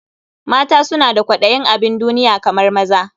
Mata suna da kwaɗayin abin duniya kamar maza.